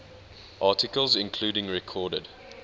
articles including recorded